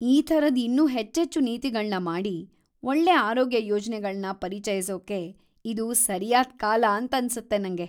ಈ ಥರದ್‌ ಇನ್ನೂ ಹೆಚ್ಚೆಚ್ಚು ನೀತಿಗಳ್ನ ಮಾಡಿ, ಒಳ್ಳೆ ಆರೋಗ್ಯ ಯೋಜ್ನೆಗಳ್ನ ಪರಿಚಯಿಸೋಕೆ ಇದು ಸರಿಯಾದ್‌ ಕಾಲ ಅಂತನ್ಸತ್ತೆ ನಂಗೆ.